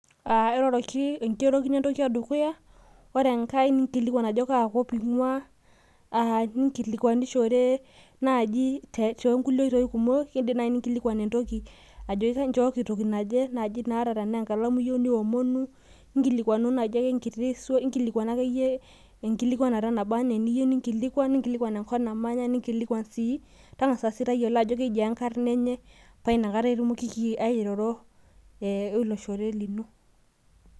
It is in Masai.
enkirorokino entoki edukuya ore enkae ninkilikuan ajo kaakop ing'uaa , ning'ilikuanishore naaji tokulie oitoi kumok kidim naaji nijoki chooki toki naje ata tenaa enkalamu iyieu ninkilikuanu , ninkilikuan enkop naing'ua taang'asa sii tayiolo ajo keji ing'ae paa inakata itumokiki airoro weloshore lino.